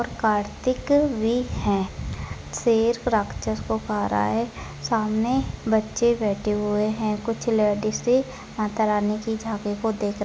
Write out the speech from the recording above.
कार्तिक भी हैं शेर राक्षस को खा रहा है सामने बच्चे बैठे हुए है कुछ लेडीज माता रानी की झांकी को देख--